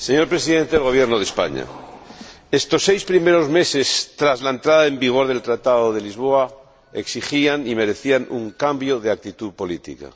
Señor Presidente, señor Presidente del Gobierno de España, estos seis primeros meses, tras la entrada en vigor del Tratado de Lisboa, exigían y merecían un cambio de actitud política.